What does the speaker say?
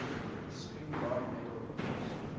spingarn medal winners